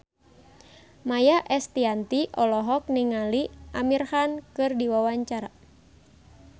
Maia Estianty olohok ningali Amir Khan keur diwawancara